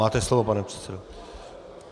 Máte slovo, pane předsedo.